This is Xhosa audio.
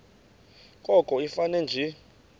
koko ifane nje